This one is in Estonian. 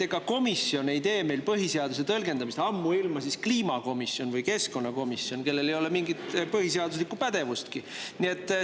Ega komisjon ei tõlgenda meil põhiseadust, ammuilma kliimakomisjon või keskkonnakomisjon, kellel ei ole mingit põhiseaduse pädevustki.